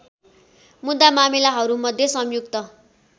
मुद्दा मामिलाहरूमध्ये संयुक्त